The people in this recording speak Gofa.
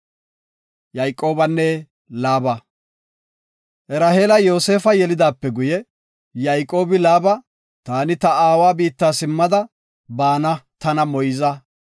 Raheela Yoosefa yelidaape guye, Yayqoobi, “Taani ta aawa biitta simmada bana tana moyza.